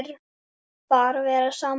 Bara vera saman.